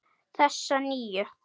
Þessa nýju.